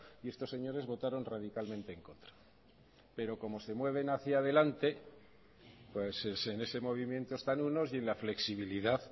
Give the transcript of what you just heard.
y estos señores votaron radicalmente en contra pero como se mueven hacia adelante en ese movimiento están unos y en la flexibilidad